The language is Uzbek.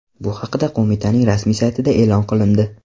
Bu haqda qo‘mitaning rasmiy saytida e’lon qilindi .